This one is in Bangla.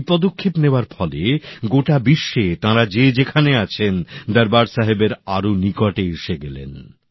এই পদক্ষেপ নেওয়ার ফলে গোটা বিশ্বে তাঁরা যে যেখানে আছেন দরবার সাহেবের আরও নিকটে এসে গেলেন